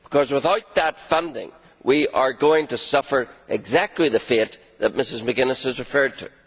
Without that funding, we are going to suffer exactly the fate that Mrs McGuinness has referred to.